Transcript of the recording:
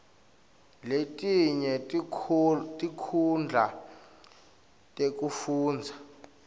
letinye tinkhundla tekufundza